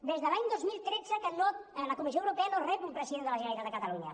des de l’any dos mil tretze que la comissió europea no rep un president de la generalitat de catalunya